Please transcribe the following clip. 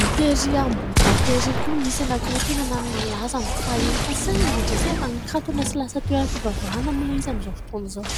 Ny terÿ Ambohidahy terÿ koa nisy anankiroa tena nanana ny lazany fahiny fa saingy, indrisy fa nikatona sy lasa toeram-pivavahana moa ilay izy amn'izao fotoana izao.